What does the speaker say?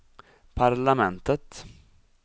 parlamentet